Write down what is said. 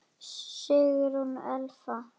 Sigrún Elfa.